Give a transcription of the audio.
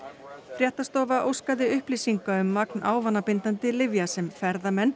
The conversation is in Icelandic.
fréttastofa óskaði upplýsinga um magn ávanabindandi lyfja sem ferðamenn